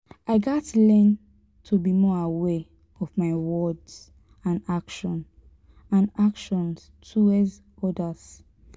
i gats learn to be more aware of my words and actions and actions towards others.